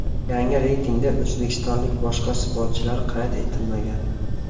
Yangi reytingda o‘zbekistonlik boshqa sportchilar qayd etilmagan.